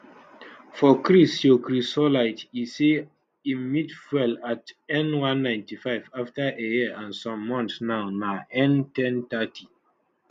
for chris ceochrysolite e say im meet fuel at n195 afta a year and some months now na n1030